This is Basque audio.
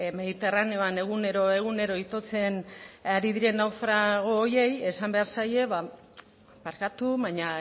mediterraneoan egunero egunero itotzen ari diren naufrago horiei esan behar zaie barkatu baina